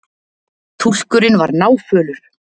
Túlkurinn var náfölur.